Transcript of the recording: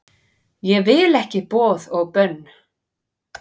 Ég vil ekki boð og bönn